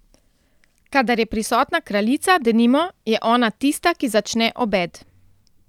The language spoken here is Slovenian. Kadar je prisotna kraljica, denimo, je ona tista, ki začne obed.